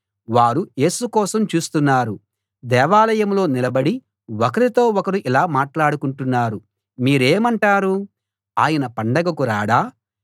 వారు యేసు కోసం చూస్తున్నారు దేవాలయంలో నిలబడి ఒకరితో ఒకరు ఇలా మాట్లాడుకుంటున్నారు మీరేమంటారు ఆయన పండగకు రాడా